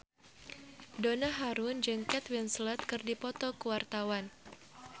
Donna Harun jeung Kate Winslet keur dipoto ku wartawan